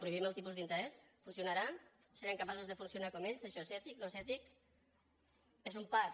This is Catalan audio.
prohibim el tipus d’interès funcionarà serem capaços de funcionar com ells això és ètic no és ètic és un pas